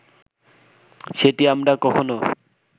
সেটি আমরা কখনো